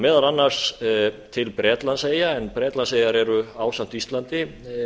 meðal annars til bretlandseyja en bretlandseyjar eru ásamt íslandi